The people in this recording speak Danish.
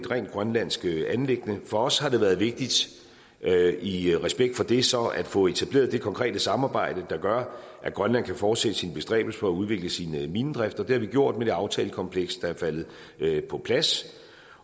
rent grønlandsk anliggende for os har det været vigtigt i respekt for det så at få etableret det konkrete samarbejde der gør at grønland kan fortsætte sine bestræbelser udvikle sin minedrift og det har vi gjort med det aftalekompleks der er faldet på plads